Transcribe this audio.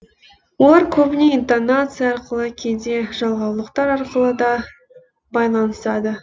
олар көбіне интонация арқылы кейде жалғаулықтар арқылы да байланысады